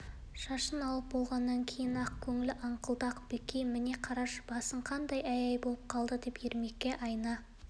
шашын алып болғаннан кейін ақ көңіл аңқылдақ бекей міне қарашы басың қандай әй-әй болып қалды деп ермекке айна